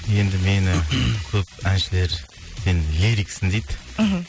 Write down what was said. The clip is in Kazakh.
енді мені көп әншілер енді лириксің дейді мхм